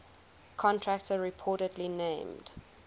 contractor reportedly named